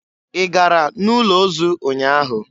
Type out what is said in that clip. Ị gara n'ụlọ ozu ụnyaahụ?